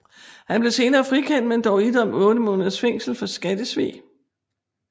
Han blev senere frikendt men dog idømt 8 måneders fængsel for skattesvig